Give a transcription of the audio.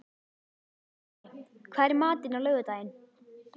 Máney, hvað er í matinn á laugardaginn?